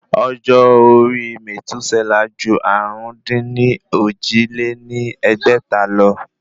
Ọjọ́ orí mètúsẹ́là ju àrún-dín-ní-ojì lé ní ẹgbẹ́ta lọ